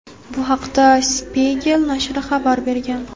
Bu haqda "Spiegel" nashri xabar bergan.